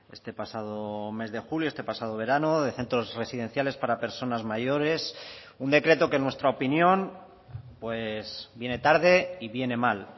este pasado mes de julio este pasado verano de centros residenciales para personas mayores un decreto que en nuestra opinión viene tarde y viene mal